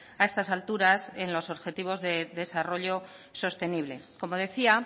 a estas alturas en los objetivos de desarrollo sostenible como decía